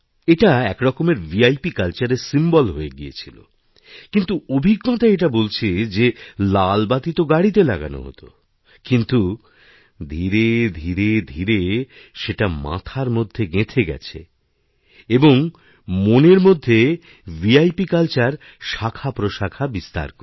এটা একরকমের ভিআইপিকালচারের সিম্বল হয়ে গিয়েছিলকিন্তু অভিজ্ঞতা এটা বলছে যে লাল বাতি তো গাড়িতে লাগানো হত কিন্তু ধীরে ধীরেধীরেসেটা মাথার মধ্যে গেঁথে গেছে এবং মনের মধ্যে ভিআইপি কালচার মনের মধ্যে ছড়িয়েযেত